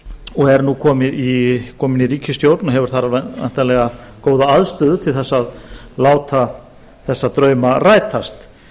og er nú komin í ríkisstjórn og hefur þar væntanlega góða aðstöðu til að láta þessa drauma rætast